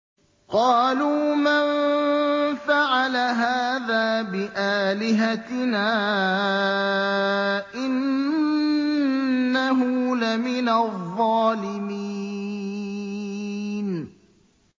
قَالُوا مَن فَعَلَ هَٰذَا بِآلِهَتِنَا إِنَّهُ لَمِنَ الظَّالِمِينَ